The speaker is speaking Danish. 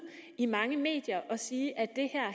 i mange medier og sige at det